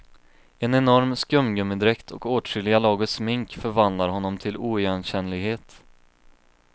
En enorm skumgummidräkt och åtskilliga lager smink förvandlar honom till oigenkännlighet.